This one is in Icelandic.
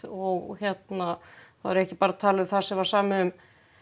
og þá er ég ekki bara að tala um það sem var samið um